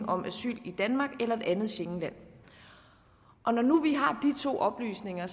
om asyl i danmark eller et andet schengenland når nu vi har de to oplysninger